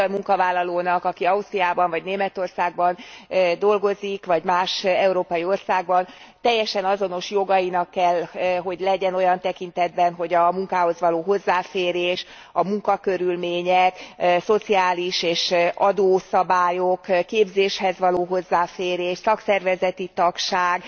egy magyar munkavállalónak, aki Ausztriában vagy Németországban dolgozik vagy más európai országban, teljesen azonos jogainak kell hogy legyen az alábbiak tekintetében a munkához való hozzáférés, a munkakörülmények, szociális és adószabályok, képzéshez való hozzáférés, szakszervezeti tagság,